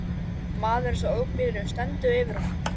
Maðurinn sem ók bílnum stendur yfir honum.